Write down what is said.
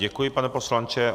Děkuji, pane poslanče.